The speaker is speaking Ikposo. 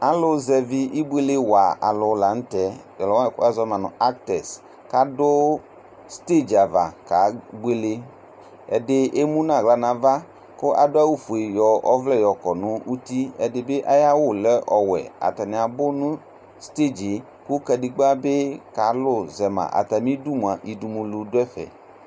Alu zɛvi ɩbʊele wa lanu tɛ tala wazɔ nu acters kadu stadium ava kebuele ɛdi emʊnu aɣla nava ladu awu fue nava nuku wuɛ nu uti ɛdi bi adu ɛku ɔwʊɛ atani abʊ nu stadiumɛ kukadegba bi kalʊzɛma ayidumʊa odumulʊ du ɛƒɛ